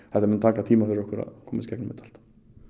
þetta mun taka tíma fyrir okkur að komast í gegnum þetta allt